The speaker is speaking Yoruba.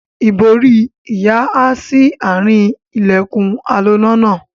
Ìbòrí ìyá há sí àárín ilẹ̀kùn aloná náà.